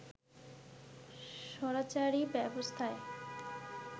স্বৈরাচারী ব্যবস্থায়